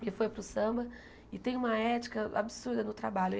que foi para o samba e tem uma ética absurda no trabalho.